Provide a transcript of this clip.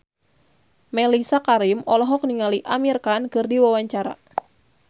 Mellisa Karim olohok ningali Amir Khan keur diwawancara